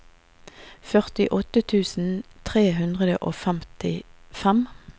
førtiåtte tusen tre hundre og femtifem